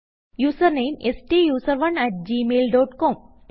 username സ്റ്റൂസറോണ് at gmail dot com